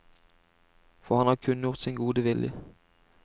For han har kunngjort sin gode vilje.